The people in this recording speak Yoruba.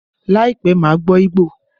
Láìpẹ́, màá gbọ́ Igbo